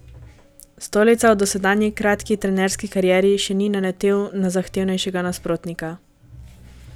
Stolica v dosedanji kratki trenerski karieri še ni naletel na zahtevnejšega nasprotnika.